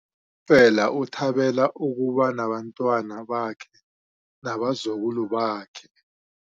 felwa uthabela ukuba nabantwana bakhe nabazukulu bakhe.